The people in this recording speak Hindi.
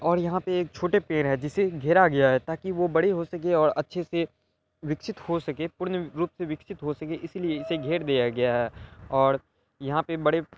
और यहा पे एक छोटे पैड है जिससे घेरा गया है ताकि वो बड़े हो सके और अच्छे से विकसित हो सके पूर्ण रूप से विकसित हो सके इसलिए इसे घेर दिया गया है और यहा पे बड़--